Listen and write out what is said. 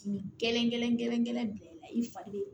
Kile kelen i fa be yen